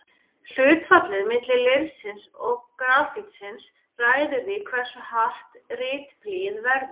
Hlutfallið milli leirsins og grafítsins ræður því hversu hart ritblýið verður.